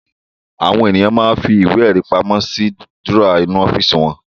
Àwọn ènìyàn máa ń fi ìwé-ẹ̀rí pamọ́ sínú dúrọ́à ọ́fíísì wọn.